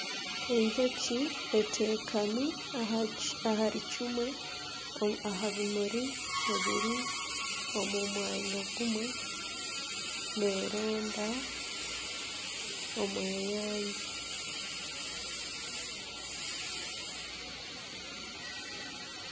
Enjoki eteekami ahari kimwe aha bimuri ebiri omu mwanya gumwe neronda omweyangye.